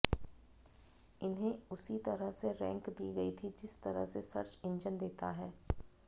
इन्हें उसी तरह से रैंक दी गई थी जिस तरह से सर्च इंजन देता है